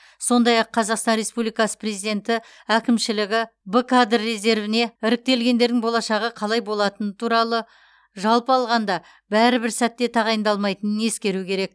сондай ақ қазақстан республикасы президенті әкімшілігі б кадр резервіне іріктелгендердің болашағы қалай болатыны туралы жалпы алғанда бәрі бір сәтте тағайындалмайтынын ескеру керек